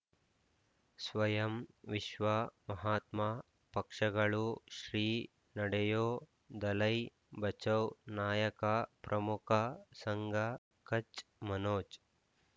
ಸ್ವಯಂ ವಿಶ್ವ ಮಹಾತ್ಮ ಪಕ್ಷಗಳು ಶ್ರೀ ನಡೆಯೂ ದಲೈ ಬಚೌ ನಾಯಕ ಪ್ರಮುಖ ಸಂಘ ಕಚ್ ಮನೋಜ್